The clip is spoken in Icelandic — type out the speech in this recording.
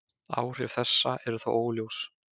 Áhrif þessa eru þó óljós.